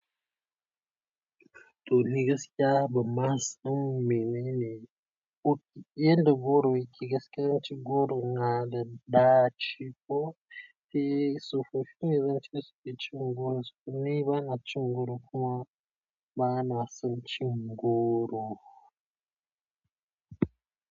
Toh ni gaskiya banmasan menene. Wani yanda goro yake gaskiya, cin goro na da daci ko sai tsofaffi ne yanzu dai suke cin goro, su kuma ne ba na cin goro kuma ba na son cin goro.